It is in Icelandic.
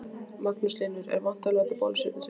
Magnús Hlynur: Er vont að láta bólusetja sig?